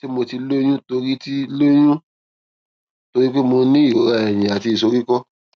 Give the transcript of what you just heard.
ṣé mo ti lóyún torí ti lóyún torí pé mo ní ìrora ẹyìn àti ìsoríkó